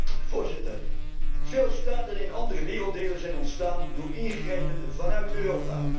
Voorzitter, veel staten in andere werelddelen zijn ontstaan door ingrijpen vanuit Europa.